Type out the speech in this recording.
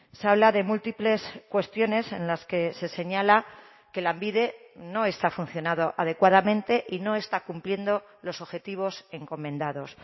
se habla de múltiples cuestiones en las que se señala que lanbide no está funcionado adecuadamente y no está cumpliendo los objetivos encomendados